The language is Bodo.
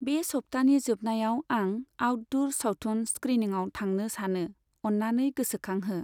बे सब्थानि जोबनायाव आंं आउटदुर सावथुन स्क्रिनिंआव थांनो सानो, अननानै गोसोखांहो।